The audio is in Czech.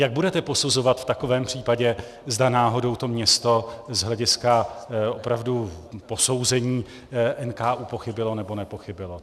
Jak budete posuzovat v takovém případě, zda náhodou to město z hlediska opravdu posouzení NKÚ pochybilo nebo nepochybilo?